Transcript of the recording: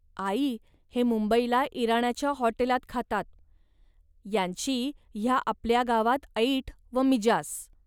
आई, हे मुंबईला इराण्याच्या हॉटेलात खातात. यांची ह्या आपल्या गावात ऐट व मिजास